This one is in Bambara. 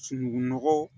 Sunuŋu nɔgɔ